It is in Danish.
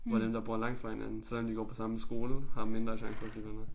Hvor dem der bor langt fra hinanden selvom de går på samme skole har mindre chance for at blive venner